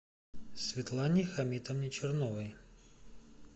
светлане хамитовне черновой